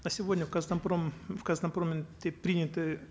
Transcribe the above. на сегодня в казатомпром в казатомпроме приняты